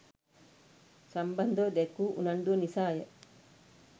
සම්බන්‍ධව දැක්වූ උනන්‍දුව නිසාය.